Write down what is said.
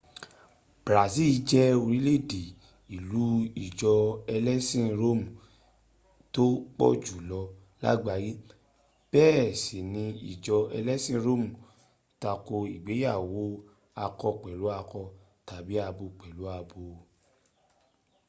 brazil jẹ orílẹ̀-èdè ìlú ìjọ ẹlẹ́sin róòmù tó pọ̀jù lọ làgbáyé bẹ́ẹ̀ sì ní ìjọ ẹlẹ́sìn róòmù tako ìgbéyàwó akọ pẹ̀lú akọ tàbí abo pẹ̀lú abo